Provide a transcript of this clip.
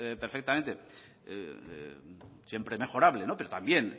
perfectamente siempre mejorable pero también